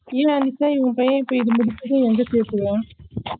இல்ல அனிதா உன் பையன இப்போ இத முடுச்சுட்டு எங்க செத்துவா